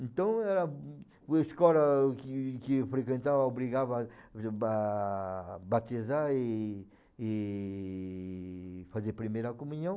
Então a a escola que que eu frequentava obrigava a batizar e e fazer a primeira comunhão.